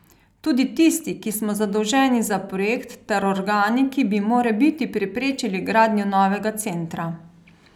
Tudi tisti, ki smo zadolženi za projekt, ter organi, ki bi morebiti preprečili gradnjo novega centra.